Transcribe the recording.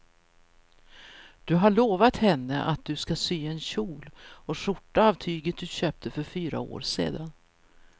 Du har lovat henne att du ska sy en kjol och skjorta av tyget du köpte för fyra år sedan.